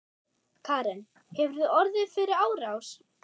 Karen: Hefurðu orðið fyrir árás?